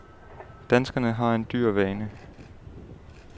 Danskerne har en dyr vane.